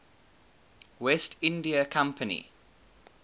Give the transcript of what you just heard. west india company